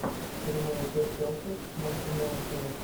прямой эфир челси с манкунианцами